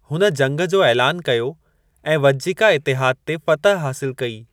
हुन जंगु जो ऐलान कयो ऐं वज्जिका इतिहादु ते फ़तह हासिलु कई।